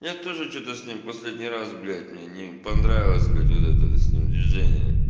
я тоже что-то с ним последний раз блять мне не понравилось блять вот этот с ним движение